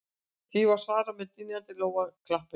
Því var svarað með dynjandi lófaklappi